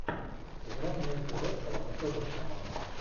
игра между лестером и тоттенхэмом